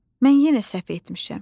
Mən yenə səhv etmişəm.